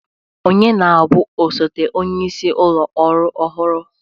Ọnye na-bụ osote onyeisi ụlọ ọrụ ọhụrụ?